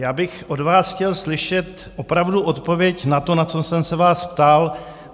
Já bych od vás chtěl slyšet opravdu odpověď na to, na co jsem se vás ptal.